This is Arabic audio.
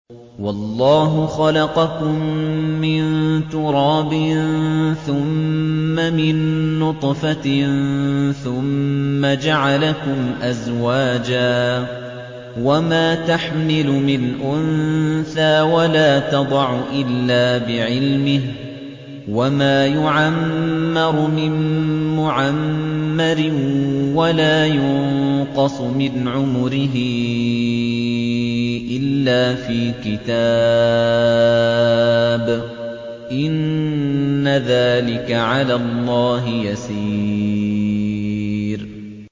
وَاللَّهُ خَلَقَكُم مِّن تُرَابٍ ثُمَّ مِن نُّطْفَةٍ ثُمَّ جَعَلَكُمْ أَزْوَاجًا ۚ وَمَا تَحْمِلُ مِنْ أُنثَىٰ وَلَا تَضَعُ إِلَّا بِعِلْمِهِ ۚ وَمَا يُعَمَّرُ مِن مُّعَمَّرٍ وَلَا يُنقَصُ مِنْ عُمُرِهِ إِلَّا فِي كِتَابٍ ۚ إِنَّ ذَٰلِكَ عَلَى اللَّهِ يَسِيرٌ